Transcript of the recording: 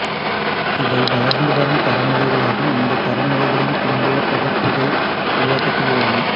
இவை வளர்ந்துவரும் தரநிலைகளாகும் இந்தத் தரநிலைகளின் பிந்தைய பதிப்புகள் உருவாக்கத்தில் உள்ளன